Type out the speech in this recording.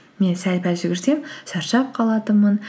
мен сәл пәл жүгірсем шаршап қалатынмын